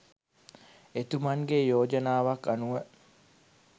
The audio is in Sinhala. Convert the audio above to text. එතුමන්ගේ යෝජනාවක් අනුව